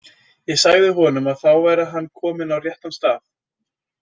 Ég sagði honum að þá væri hann kominn á réttan stað.